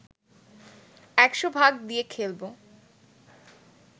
১০০ ভাগ দিয়ে খেলবো